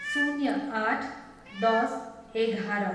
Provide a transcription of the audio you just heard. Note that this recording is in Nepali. शून्य आठ, दस, एघार